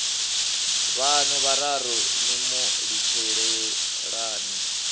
vhaṋu vhararu ni mu litshelani